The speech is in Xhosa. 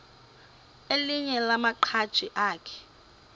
elinye lamaqhaji akhe